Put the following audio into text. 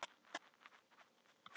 Sandra, hvaða leikir eru í kvöld?